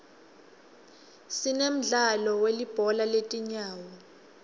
sinemdlalo welibhola letinyawo